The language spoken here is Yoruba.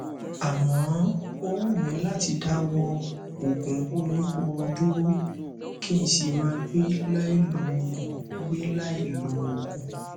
àmọ ó wù mí láti dáwọ òògùn oníhóró dúró kí n sì máa gbé láì lòògùn gbé láì lòògùn